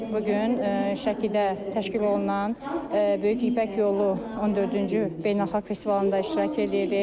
Biz bu gün Şəkidə təşkil olunan böyük İpək yolu 14-cü beynəlxalq festivalında iştirak eləyirik.